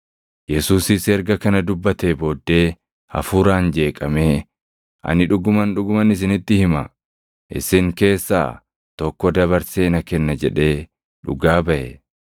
Yesuusis erga kana dubbatee booddee hafuuraan jeeqamee, “Ani dhuguman, dhuguman isinitti hima; isin keessaa tokko dabarsee na kenna” jedhee dhugaa baʼe.